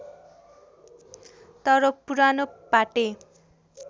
तर पुरानो पाटे